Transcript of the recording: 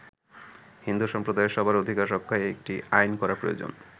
হিন্দু সম্প্রদায়ের সবার অধিকার রক্ষায় একটি আইন করা প্রয়োজন।